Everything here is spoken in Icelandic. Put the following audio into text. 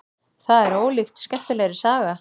Það var ólíkt skemmtilegri saga.